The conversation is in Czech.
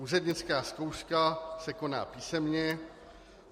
Úřednická zkouška se koná písemně.